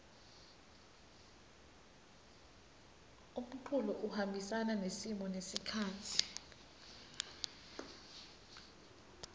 umculo uhambisana nesimo nesikhatsi